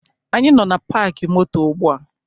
Anyị nọ na paakị moto ugbua